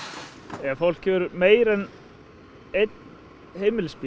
ef fólk hefur meira en einn heimilisbíl